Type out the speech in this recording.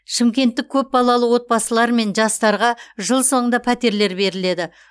шымкенттік көпбалалы отбасылар мен жастарға жыл соңында пәтерлер беріледі